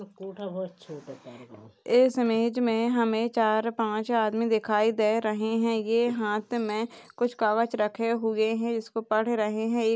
इस इमेज में हमें चार पांच आदमी दिखाई दे रहे हैं ये हाथ में कुछ कागज रखे हुए हैं इसको पढ़ रहे हैं।